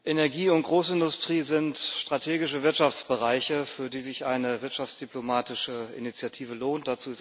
Energie und Großindustrie sind strategische Wirtschaftsbereiche, für die sich eine wirtschaftsdiplomatische Initiative lohnt.